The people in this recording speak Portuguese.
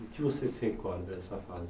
O que você se recorda dessa fase?